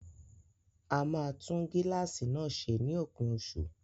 A máa tún gíláàsì náà ṣe ní òpin oṣù